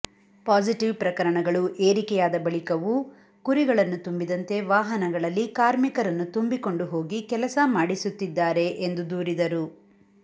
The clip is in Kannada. ಪಾಸಿಟಿವ್ ಪ್ರಕರಣಗಳು ಏರಿಕೆಯಾದ ಬಳಿಕವೂ ಕುರಿಗಳನ್ನು ತುಂಬಿದಂತೆ ವಾಹನಗಳಲ್ಲಿ ಕಾರ್ಮಿಕರನ್ನು ತುಂಬಿಕೊಂಡು ಹೋಗಿ ಕೆಲಸ ಮಾಡಿಸುತ್ತಿದ್ದಾರೆ ಎಂದು ದೂರಿದರು